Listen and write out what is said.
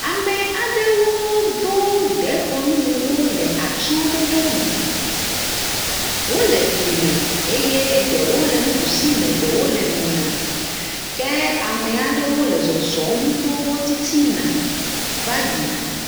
Ame aɖewo do dekɔnu wu wo le atyse ɖoɖo me. Wole fli me eye ɖewo nuɖusime eye ɖewo le mɛ̃a me. Ke ame aɖewo le zɔzɔm to wo titin ava yina.